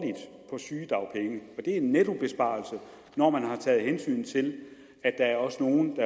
det er en nettobesparelse når man har taget hensyn til at der også nogle